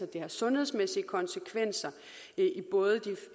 det har sundhedsmæssige konsekvenser både